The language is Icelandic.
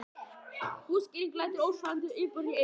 Útskýringin lætur ósannfærandi og yfirborðslega í eyrum.